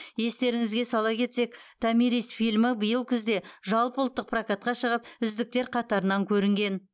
естеріңізге сала кетсек томирис фильмі биыл күзде жалпыұлттық прокатқа шығып үздіктер қатарынан көрінген